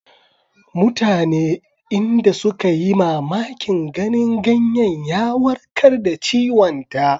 Mutane inda suka yi mamakin ganin ganyen ya warkar da ciwonta.